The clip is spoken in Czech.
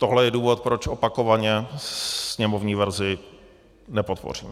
Tohle je důvod, proč opakovaně sněmovní verzi nepodpořím.